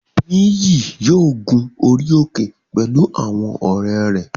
Nìyí yóò gun orí òkè pẹ̀lú àwọn ọ̀rẹ́ rẹ̀